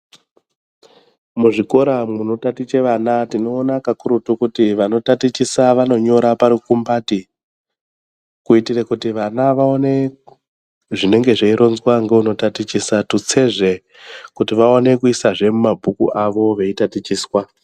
Muzvikora munotaticha vana tinoona pakurutu kuti vanotatichisa vanonyora parukumbati kuita kuti vana vaone zvinenge zveironzwa ngeunotatichisa tutsezve kuti vaone kuisazve mumabhuku avo veitatichiswa.